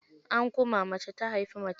An kuma, mace ta haifi mace.